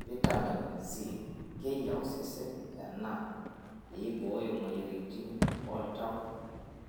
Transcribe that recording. Fitamen C:Keyie osesen ena pee eibooyo moyiaritin oltau,